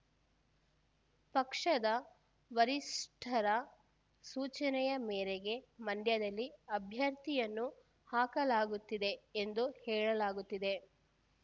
ಪಕ್ಷದ ವರಿಷ್ಠರ ಸೂಚನೆಯ ಮೇರೆಗೆ ಮಂಡ್ಯದಲ್ಲಿ ಅಭ್ಯರ್ಥಿಯನ್ನು ಹಾಕಲಾಗುತ್ತಿದೆ ಎಂದು ಹೇಳಲಾಗುತ್ತಿದೆ